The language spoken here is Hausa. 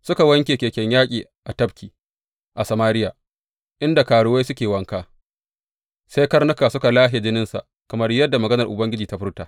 Suka wanke keken yaƙi a tafki, a Samariya inda karuwai suke wanka, sai karnuka suka lashe jininsa, kamar yadda maganar Ubangiji ta furta.